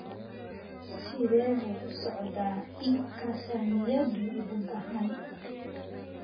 Sidee buu u socdaa iibka saamiyadu guud ahaan?